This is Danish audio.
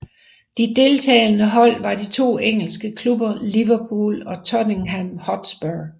De deltagende hold var de to engelske klubber Liverpool og Tottenham Hotspur